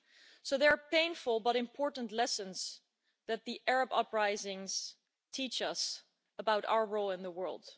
So there are painful but important lessons that the Arab uprisings can teach us about our role in the world.